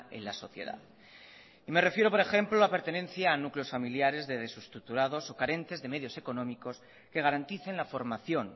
en la sociedad me refiero por ejemplo a la pertenencia a núcleos familiares desestructurados o carentes de medios económicos que garanticen la formación